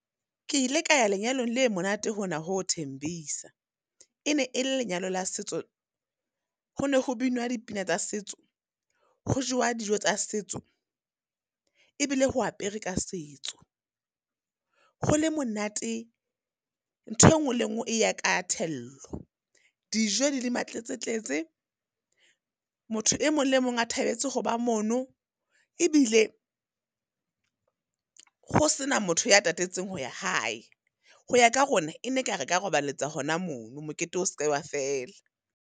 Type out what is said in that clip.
Ke ile ka ya lenyalong le monate hona ho Thembisa. E ne e lenyalo la setso, ho ne ho binwa dipina tsa setso, ho jewa dijo tsa setso, e bile ho apere ka setso. Ho le monate, ntho e nngwe le nngwe e ya ka thello, dijo di le ma tletsetletse. Motho e mong le mong a thabetse ho ba mono, e bile ho sena motho ya tatetseng ho ya hae. Ho ya ka rona, e ne ka re ka robaletsa hona mono mokete o seke wa fela.